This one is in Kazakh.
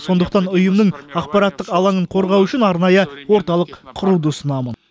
сондықтан ұйымның ақпараттық алаңын қорғау үшін арнайы орталық құруды ұсынамын